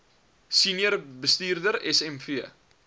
senior bestuurder smv